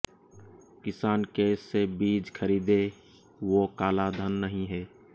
किसान कैश से बीज खरीदे वो काला धन नहीं है